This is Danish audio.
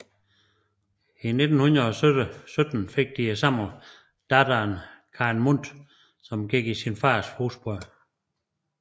I 1917 fik de samme datteren Karen Mundt som gik i sin fars fodspor